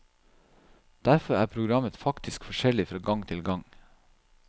Derfor er programmet faktisk forskjellig fra gang til gang.